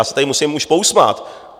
Já se tady musím už pousmát.